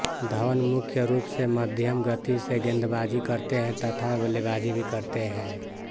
धवन मुख्य रूप से मध्यम गति से गेंदबाजी करते है तथा बल्लेबाजी भी करते है